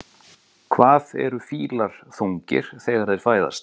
Hvað eru fílar þungir þegar þeir fæðast?